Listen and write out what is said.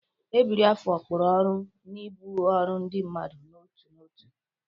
Ebiri afọ kpụrụ ọrụ na ibu ọrụ ndị mmadụ n'otu n'otu.